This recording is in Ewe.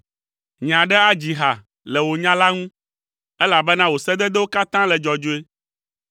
Nye aɖe adzi ha le wò nya la ŋu, elabena wò sededewo katã le dzɔdzɔe.